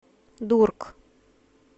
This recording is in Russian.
дург